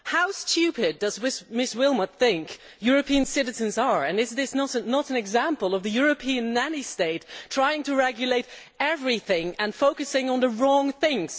How stupid does Ms Willmott think European citizens are? Is this not an example of the European nanny state trying to regulate everything and focusing on the wrong things?